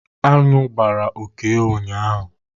Anụ gbara Okey ụnyaahụ